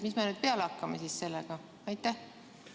Mis me nüüd siis sellega peale hakkame?